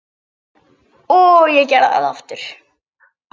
Og ég gerði það aftur.